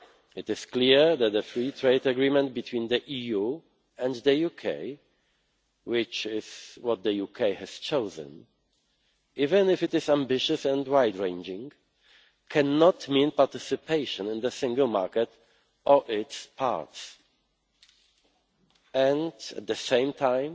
It is clear that a free trade agreement between the EU and the UK, which is what the UK has chosen, even if it is ambitious and wide ranging, cannot mean participation in the Single Market or its parts. And at the same